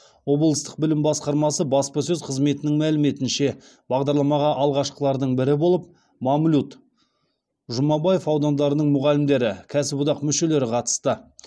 облыстық білім басқармасы баспасөз қызметінің мәліметінше бағдарламаға алғашқылардың бірі болып мамлют жұмабаев аудандарының мұғалімдері кәсіподақ мүшелері қатысты